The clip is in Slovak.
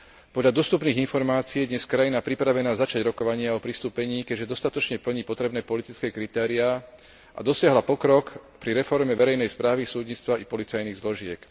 Podľa dostupných informácií je dnes krajina pripravená začať rokovania o pristúpení, keďže dostatočne plní potrebné politické kritériá a dosiahla pokrok pri reforme verejnej správy, súdnictva i policajných zložiek.